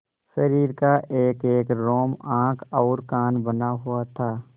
शरीर का एकएक रोम आँख और कान बना हुआ था